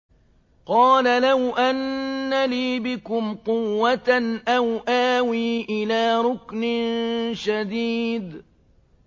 قَالَ لَوْ أَنَّ لِي بِكُمْ قُوَّةً أَوْ آوِي إِلَىٰ رُكْنٍ شَدِيدٍ